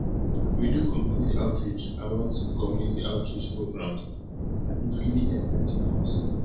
we do community outreach about community outreach programs and e really enligh ten us